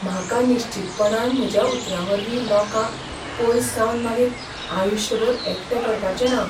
म्हाका निश्चीतपणान म्हज्या उतरांवरवीं लोकांक पयसावन मागीर आयुश्यभर एकटें पडपाचें ना .